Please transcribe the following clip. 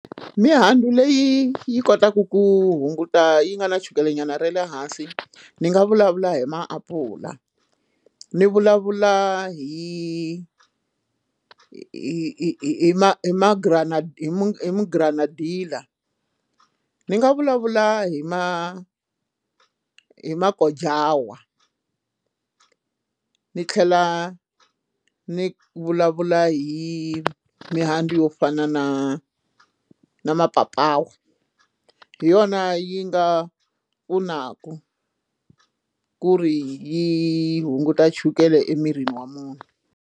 Mihandzu leyi yi kotaka ku hunguta yi nga na chukelenyana ra le hansi ni nga vulavula hi maapula ni vulavula hi hi hi hi ma ma granadilla hi mu granadilla ndzi nga vulavula hi ma hi magojawa ni tlhela ni vulavula hi mihandzu yo fana na mapapawa hi yona yi nga pfunaka ku ri yi hunguta chukele emirini wa munhu.